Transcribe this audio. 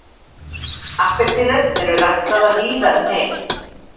Appelsínur eru ræktaðar víða um heim.